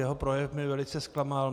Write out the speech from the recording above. Jeho projev mě velice zklamal.